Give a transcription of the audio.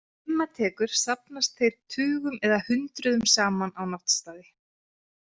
Þegar dimma tekur safnast þeir tugum eða hundruðum saman á náttstaði.